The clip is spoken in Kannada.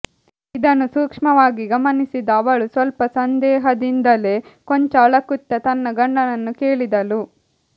ಇದನ್ನು ಸೂಕ್ಷ್ಮವಾಗಿ ಗಮನಿಸಿದ ಅವಳು ಸ್ವಲ್ಪ ಸಂದೇಹದಿಂದಲೇ ಕೊಂಚ ಅಳಕುತ್ತಾ ತನ್ನ ಗಂಡನನ್ನು ಕೇಳಿದಳು